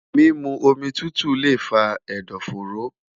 mimu omi tutu le fa ẹdọfóró